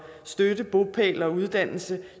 støtte bopæl og uddannelse